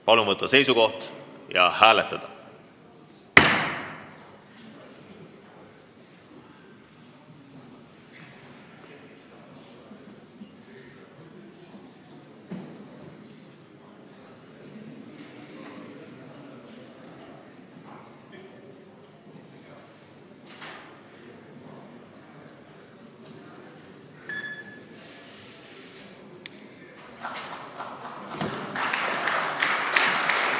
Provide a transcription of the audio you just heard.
Palun võtta seisukoht ja hääletada!